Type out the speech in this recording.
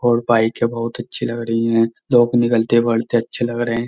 ओर पाई के बहुत अच्छी लग रही है लोग निकलते बड़ते अच्छे लग रहे है।